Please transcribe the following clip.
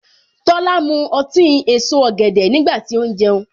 Tola mu ọtí èso ọ̀gẹ̀dẹ̀ nígbà tí ó ń jẹun.